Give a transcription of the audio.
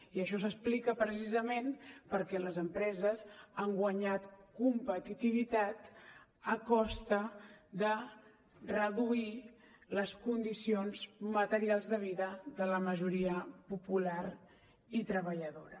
i això s’explica precisament perquè les empreses han guanyat competitivitat a costa de reduir les condicions materials de vida de la majoria popular i treballadora